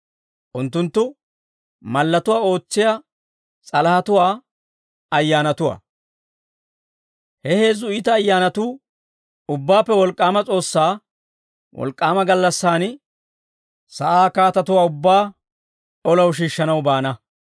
Unttunttu mallatuwaa ootsiyaa s'alahatuwaa ayyaanatuwaa. He heezzu iita ayyaanatuu Ubbaappe Wolk'k'aama S'oossaa wolk'k'aama gallassan, sa'aa kaatatuwaa ubbaa olaw shiishshanaw baana.